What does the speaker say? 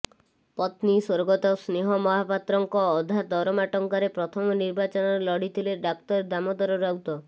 ପତ୍ନୀ ସ୍ବର୍ଗତ ସ୍ନେହ ମହାପାତ୍ରଙ୍କ ଅଧା ଦରମା ଟଙ୍କାରେ ପ୍ରଥମ ନିର୍ବାଚନ ଲଢିଥିଲେ ଡାକ୍ତର ଦାମୋଦର ରାଉତ